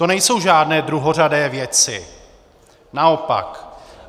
To nejsou žádné druhořadé věci, naopak.